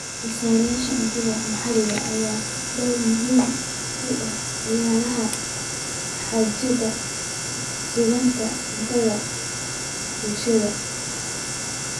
Soosaarayaasha cuntada maxalliga ah ayaa door muhiim ah ka ciyaara xaqiijinta sugnaanta cuntada ee bulshadooda.